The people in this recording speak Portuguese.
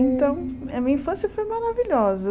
Então, a minha infância foi maravilhosa.